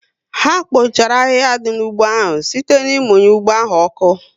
Ha kpochara ahịhịa dị n'ugbo áhù site ná ịmunye ụgbọ áhù oku